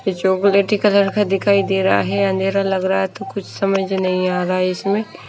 chocolate colour का दिखाई दे रहा है अंधेरा लग रहा है तो कुछ समझ नहीं आ रहा है इसमें--